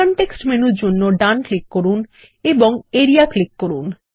context মেনুর জন্য ডান ক্লিক করুন এবং আরিয়া ক্লিক করুন